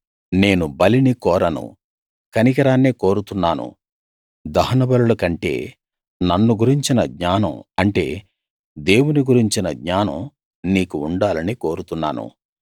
నేను బలిని కోరను కనికరాన్నే కోరుతున్నాను దహనబలుల కంటే నన్ను గురించిన జ్ఞానం అంటే దేవుని గురించిన జ్ఞానం నీకు ఉండాలని కోరుతున్నాను